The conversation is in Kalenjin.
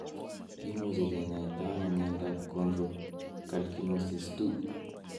Kimuche kinyaita ano miondap chondrocalcinosis 2?